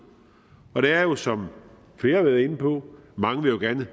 der er jo som flere har været inde på mange der gerne vil